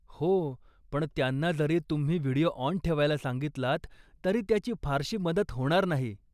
हो, पण त्यांना जरी तुम्ही व्हिडिओ ऑन ठेवायला सांगितलात, तरी त्याची फारशी मदत नाही होणार.